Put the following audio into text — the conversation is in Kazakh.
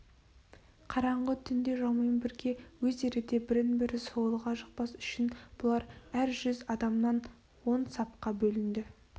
қараңғы түнде жаумен бірге өздері де бірін-бірі сойылға жықпас үшін бұлар әр жүз адамнан он сапқа бөлінді